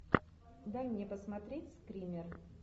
дай мне посмотреть скример